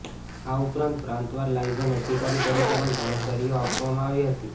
આ ઉપરાંત પ્રાંતવાર લાયઝન અધિકારી તરીકે પણ જણાબદારીઓ આપવામાં આવી હતી